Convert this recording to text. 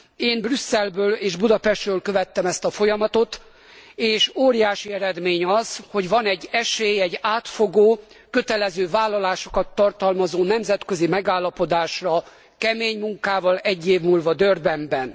Én Brüsszelből és Budapestről követtem ezt a folyamatot, és óriási eredmény az, hogy van egy esély egy átfogó, kötelező vállalásokat tartalmazó nemzetközi megállapodásra kemény munkával egy év múlva Durbanben.